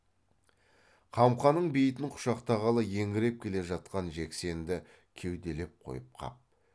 қамқаның бейітін құшақтағалы еңіреп келе жатқан жексенді кеуделеп қойып қап